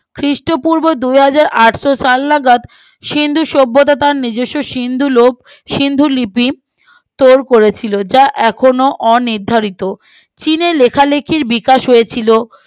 খ্রীষ্ট পূর্ব দুহাজার আটশ সাল নাগাদ সিন্ধু সভ্যতা তার নিজস্ব সিন্ধু লোপ এবং সিন্ধু লিপি স্টোর করেছিল যা এখনো অনির্ধারিত চীনের লেখালিখির বিকাশ হয়েছিল